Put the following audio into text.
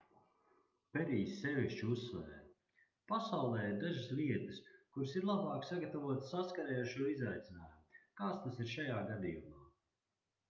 perijs sevišķi uzsvēra pasaulē ir dažas vietas kuras ir labāk sagatavotas saskarei ar šo izaicinājumu kāds tas ir šajā gadījumā